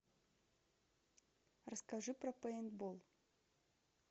расскажи про пейнтбол